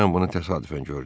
Mən bunu təsadüfən gördüm.